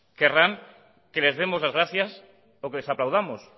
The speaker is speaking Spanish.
querrán que les demos las gracias o que les aplaudamos